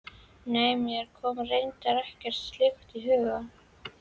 Nei, mér kom reyndar ekkert slíkt í hug.